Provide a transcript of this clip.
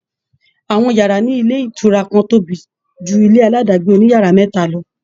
Àwọn ìyàrá ní àwọn ilé ìtura kan tóbi ju ilé aládàágbé oní yàrá mẹ́ta lọ